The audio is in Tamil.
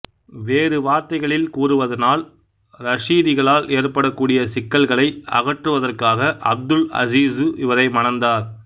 வேறு வார்த்தைகளில் கூறுவதானால் ரஷீதிகளால் ஏற்படக்கூடிய சிக்கல்களை அகற்றுவதற்காக அப்துல் அசீசு இவரை மணந்தார்